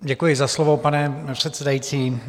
Děkuji za slovo, pane předsedající.